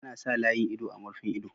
Ana sa layin ido a murfin ido.